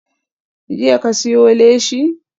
Jiya ka siyo leshi?